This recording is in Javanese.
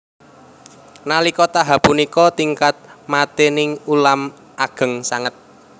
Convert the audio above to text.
Nalika tahap punika tingkat matining ulam ageng sanget